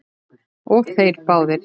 Og þeir báðir.